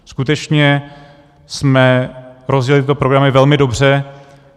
Skutečně jsme rozjeli tyto programy velmi dobře.